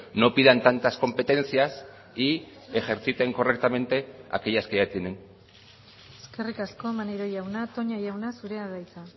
no pidan tantas competencias y ejerciten correctamente aquellas que ya tienen eskerrik asko maneiro jauna toña jauna zurea da hitza